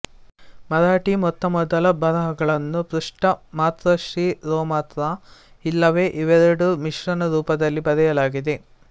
ಮರಾಠೀ ಮೊತ್ತ ಮೊದಲ ಬರಹಗಳನ್ನು ಪೃಷ್ಠ ಮಾತ್ರಾಶಿರೋಮಾತ್ರಾ ಇಲ್ಲವೇ ಇವೆರಡು ಮಿಶ್ರಣ ರೂಪದಲ್ಲಿ ಬರೆಯಲಾಗಿದೆ